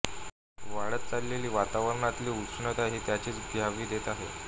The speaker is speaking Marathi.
वाढत चाललेली वातावरणातली उष्णता ही त्याचीच ग्वाही देत आहे